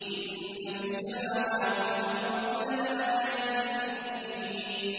إِنَّ فِي السَّمَاوَاتِ وَالْأَرْضِ لَآيَاتٍ لِّلْمُؤْمِنِينَ